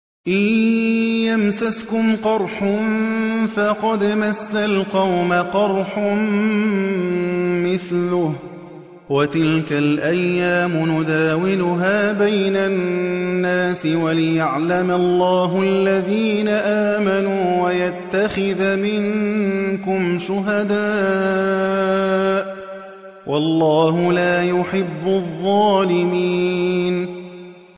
إِن يَمْسَسْكُمْ قَرْحٌ فَقَدْ مَسَّ الْقَوْمَ قَرْحٌ مِّثْلُهُ ۚ وَتِلْكَ الْأَيَّامُ نُدَاوِلُهَا بَيْنَ النَّاسِ وَلِيَعْلَمَ اللَّهُ الَّذِينَ آمَنُوا وَيَتَّخِذَ مِنكُمْ شُهَدَاءَ ۗ وَاللَّهُ لَا يُحِبُّ الظَّالِمِينَ